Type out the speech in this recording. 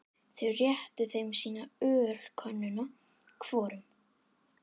Þau réttu þeim sína ölkönnuna hvorum.